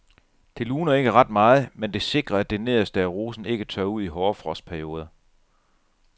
Det luner ikke ret meget, men det sikrer at det nederste af rosen ikke tørrer ud i hårde frostperioder.